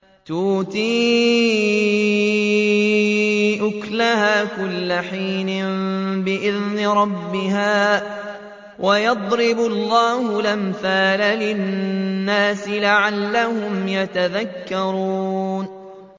تُؤْتِي أُكُلَهَا كُلَّ حِينٍ بِإِذْنِ رَبِّهَا ۗ وَيَضْرِبُ اللَّهُ الْأَمْثَالَ لِلنَّاسِ لَعَلَّهُمْ يَتَذَكَّرُونَ